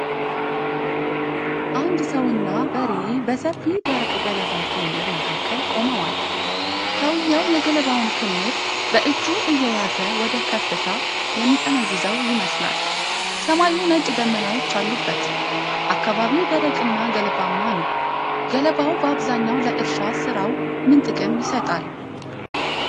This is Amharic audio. አንድ ሰውና በሬ በሰፊ ደረቅ ገለባ ክምር መካከል ቆመዋል፤ ሰውየው የገለባውን ክምር በእጁ እየያዘ ወደ ከፍታው የሚጠመዝዘው ይመስላል። ሰማዩ ነጭ ደመናዎች አሉበት፤ አካባቢው ደረቅና ገለባማ ነው። ገለባው በአብዛኛው ለእርሻ ሥራው ምን ጥቅም ይሰጣል?